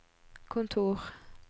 kontor